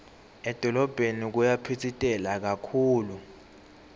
edolobheni kuyaphitsitela kakhulu